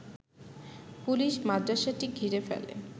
police মাদ্রাসাটি ঘিরে ফেলে